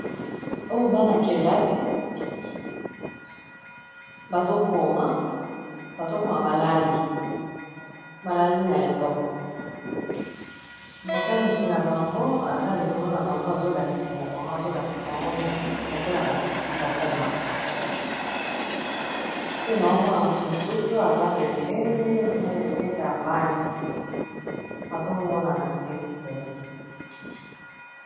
Oyo bana kelasi bazo koma, bazo koma balali balali na etoko motangisi na bango aza likolo na bango azo lakisela bango azolakisa bango lokola bakomaka pe nao mona motu mosusu aza pembeni neti avandi azomonana te likolo.